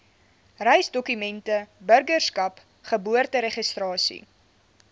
reisdokumente burgerskap geboorteregistrasie